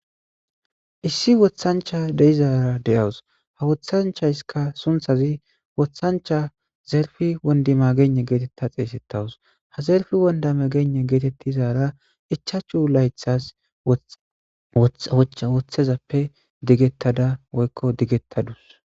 Issi woththanchcha de7izaara de7awus; ha woththaysikka sunththaze woththanchcha zerfe wondimagegn geetheththa xeeseththawus; ha zerfe wondimagegn geetheththizaara ichchachu laythaas woththizappe digeththada woykko digeththa dawus.